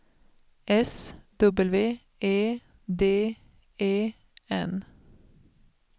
S W E D E N